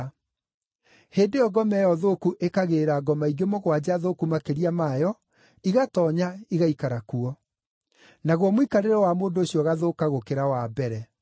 Hĩndĩ ĩyo ngoma ĩyo thũku ĩkagĩĩra ngoma ingĩ mũgwanja thũku makĩria mayo, igatoonya, igaikara kuo. Naguo mũikarĩre wa mũndũ ũcio ũgathũka gũkĩra wa mbere.”